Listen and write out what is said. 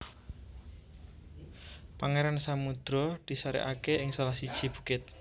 Pangeran Samudro di sarekake ing salah siji bukit